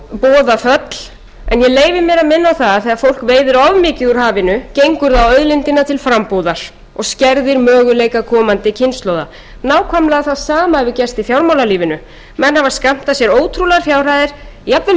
ég leyfi mér að minna á það að þegar fólk veiðir of mikið úr hafinu gengur það á auðlindina til frambúðar og skerðir möguleika komandi kynslóða nákvæmlega það sama hefur gerst í fjármálalífinu menn hafa skammtað sér ótrúlegar fjárhæðir jafnvel